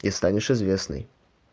ты станешь известной